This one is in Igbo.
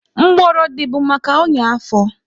Mgbọrọdị bụ maka ọnya afọ